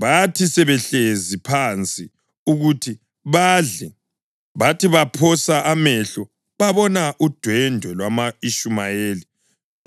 Bathi sebehlezi phansi ukuthi badle, bathi baphosa amehlo babona udwendwe lwama-Ishumayeli